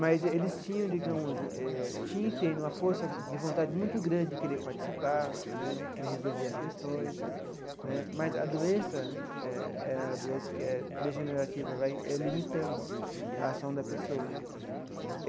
Mas eles tinham, digamos eh, tinha e têm uma força de vontade muito grande de querer participar né, querer resolver as questões né, mas a doença eh, a doença que é degenerativa, vai limitando a ação da pessoa.